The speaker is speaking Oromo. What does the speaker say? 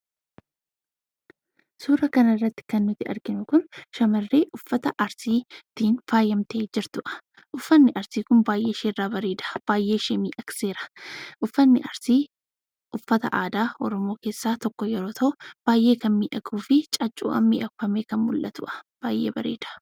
Suuraa kanarratti kan nuti arginu kun, shamarree uffata arsiitiin faayamtee jirtudha. Uffanni arsii kun baay'ee isheerraa bareeda; baay'ee ishee miidhagseera. Uffanni arsii uffata aadaa Oromoo keessaa isa tokko yoo ta'u baay'ee kan miidhaguu fi caaccuudhaan miidhagee kan mul'atudha.